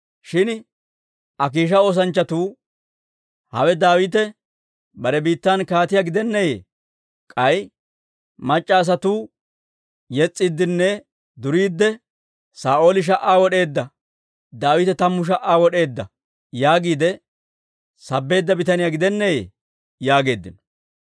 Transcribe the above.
Shin Akiisha oosanchchatuu, «Hawe Daawite bare biittan kaatiyaa gidenneeyye? K'ay mac'c'a asatuu yes's'iiddinne duriidde, ‹Saa'ooli sha"aa wod'eedda; Daawite tammu sha"aa wod'eedda› yaagiide sabbeedda bitaniyaa gidenneeyye?» yaageeddino.